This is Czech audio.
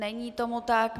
Není tomu tak.